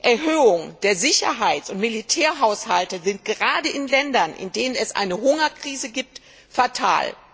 Erhöhung der Sicherheit und der Militärhaushalte sind gerade in Ländern, in denen es eine Hungerkrise gibt, fatal.